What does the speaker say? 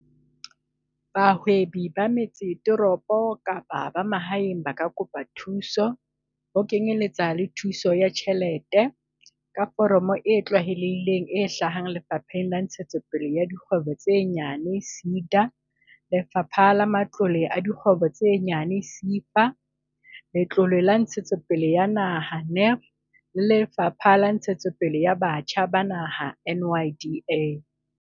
Bahwebi ba metsesetoropo kapa ba mahaeng ba ka kopa thuso, ho kenyeletsa le thuso ya tjhelete, ka foromo e tlwaelehileng e hlahang ho Lefapha la Ntshetsopele ya Dikgwebo tse Nyane, SEDA Lefapha la Matlole a Dikgwebo tse Nyane, SEFA, Letlole la Ntshetsopele ya Naha, NE, e Lefapha la Ntshetsopele ya Batjha ba Naha, NYDA.